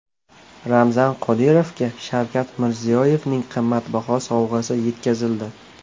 Ramzan Qodirovga Shavkat Mirziyoyevning qimmatbaho sovg‘asi yetkazildi .